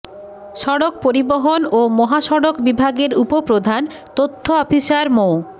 সড়ক পরিবহন ও মহাসড়ক বিভাগের উপপ্রধান তথ্য অফিসার মো